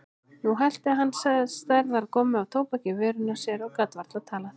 Nú hellti hann stærðar gommu af tóbaki í vörina á sér og gat varla talað.